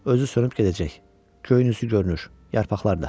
Özü sönüb gedəcək, köynüsü görünür yarpaqlarda.